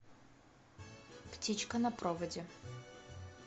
птичка на проводе